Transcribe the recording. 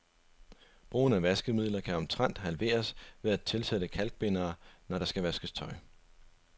Brugen af vaskemidler kan omtrent halveres ved at tilsætte kalkbindere, når der skal vaskes tøj.